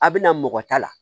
A bɛ na mɔgɔ ta la